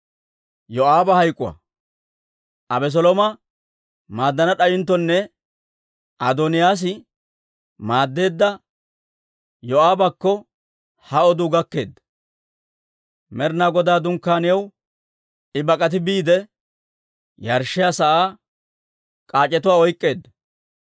Abeselooma maaddana d'ayinttonne Adooniyaas maaddeedda Yoo'aabakko ha oduu gakkeedda. Med'inaa Godaa Dunkkaaniyaw I bak'ati biide, yarshshiyaa sa'aa kac'etuwaa oyk'k'eedda.